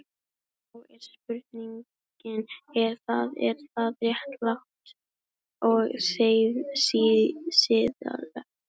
Og þá er spurningin, er það, er það réttlátt og siðlegt?